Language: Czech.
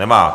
Nemá.